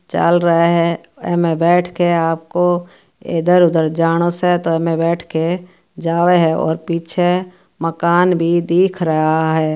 चाल रहा है एम बैठ के आपको इधर उधर जानो स एम बैठके जाव है और पीछ मकान भी दिख रहा है।